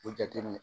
O jate